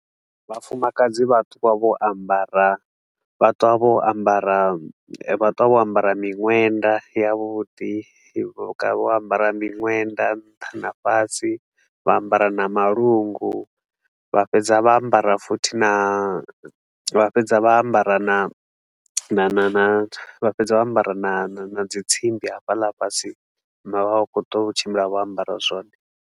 Vhafumakadzi vha ṱuwa vho ambara vha ṱuwa vho ambara vha ṱuwa vho ambara miṅwenda yavhuḓi, vho ambara miṅwenda nṱha na fhasi, vha ambara na malungu vha fhedza vha ambara futhi na vha fhedza vha ambara na na na vha fhedza vha ambara na na na dzi tsimbi hafhaḽa fhasi. Zwino vha vha vha khou ṱuwa vho tshimbila vho ambara zwothe.